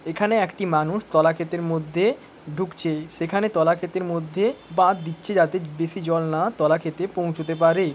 এখানে একটি মানুষ তলা ক্ষেতের মধ্যে ঢুকছে সেখানে তলা ক্ষেতের মধ্যে বাঁধ দিচ্ছে যাতে বেশি জল না তলা ক্ষেতে পৌঁছতে পারে।